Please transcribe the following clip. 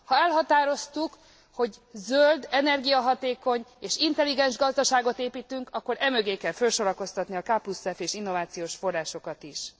Ha elhatároztuk, hogy zöld, energiahatékony és intelligens gazdaságot építünk, akkor e mögé kell felsorakoztatni a KF és innovációs forrásokat is.